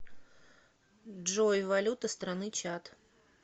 джой валюта страны чад